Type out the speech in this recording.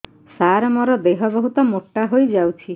ସାର ମୋର ଦେହ ବହୁତ ମୋଟା ହୋଇଯାଉଛି